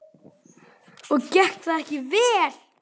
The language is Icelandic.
Og gekk það ekki vel.